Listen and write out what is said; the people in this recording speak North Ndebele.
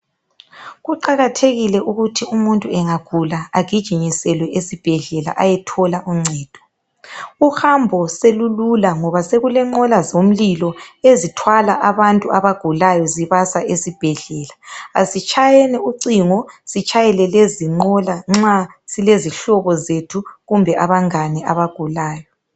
Kuqakathekile ukuthi umuntu engagula agijimiselwe esibhedlela ayethola uncedo. Uhambo solulula ngoba sokulenqola zomlilo ezithwala abantu abagulayo zibasa esibhedlela . Asitshyeni ucingo sitshayele lezinqola nxa silezihlobo zethu kumbe abangani abagulayo.